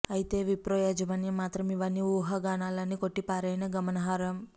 అయితే విప్రో యాజమాన్యం మాత్రం ఇవన్నీ ఊహాగానాలే అని కొట్టిపారేయడం గమనార్హం